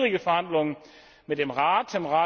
Wir hatten schwierige Verhandlungen mit dem Rat.